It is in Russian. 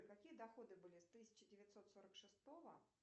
какие доходы были с тысяча девятьсот сорок шестого